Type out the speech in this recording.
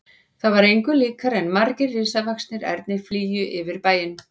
Það var engu líkara en margir risavaxnir ernir flygju yfir bæinn.